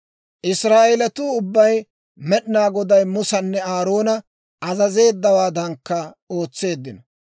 Israa'eelatuu ubbay Med'inaa Goday Musanne Aaroona azazeeddawaadankka ootseeddino.